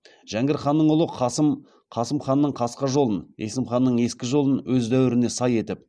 жәңгір ханның ұлы қасым қасым ханның қасқа жолын есім ханның ескі жолын өз дәуіріне сай етіп